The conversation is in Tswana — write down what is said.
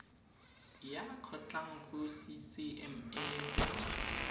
ya kgotlang go ccma go